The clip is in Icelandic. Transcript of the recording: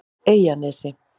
Eyjanesi